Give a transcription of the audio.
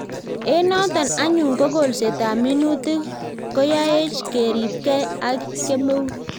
Eng' notok anyun ko kolset ab minutik koyaech keripkei ak kemeut